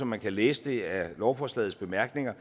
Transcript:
man læse det af lovforslagets bemærkninger